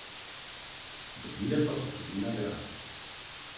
Dobile pa so tudi nagrado.